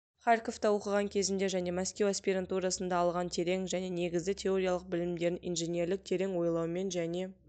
харьковта оқыған кезінде және мәскеу аспирантурасында алған терең және негізді теориялық білімдерін инженерлік терең ойлаумен және